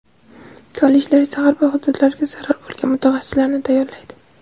Kollejlar esa har bir hududlarga zarur bo‘lgan mutaxassislarni tayyorlaydi.